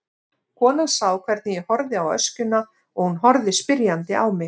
Konan sá hvernig ég horfði á öskjuna og hún horfði spyrjandi á mig.